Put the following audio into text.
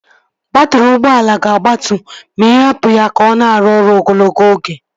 Baatrị ụgbọala ga-agbatu ma ị hapụ ya ka ọ na-arụ ọrụ ogologo oge